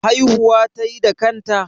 Haihuwa tayi da kanta?